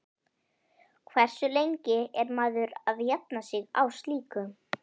Hversu lengi er maður að jafna sig á slíku?